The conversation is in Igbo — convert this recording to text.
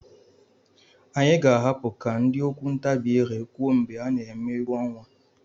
Anyị ga-ahapụ ka ndị okwu ntabi ire kwuo mgbe a na-eme egwu ọnwa.